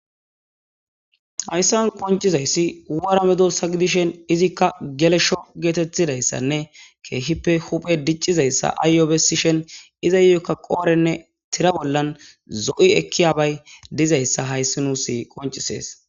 hayssan qoncizayssi wora medosa gidishen izikka gelesho geetettidayssanne keehippe huphe diccizayssa aayyo bessishen izayokka qoorenne tira bollan zo'i ekkiyabay dizayssa hayssi nuusi qoncisees